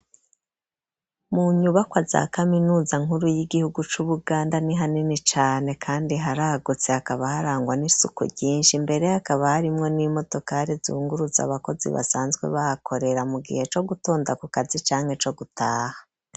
Mu nyubakwa za kaminuza nkuru y'igihugu c'ubuganda ni hanini cane kandi haragutse hakaba harangwa n'isuku ryinshi mbere hakaba harimwo n'imodokari zungurutsa abakozi basanzwe bahakorera mu gihe co gutonda ku kazi canke co gutaha.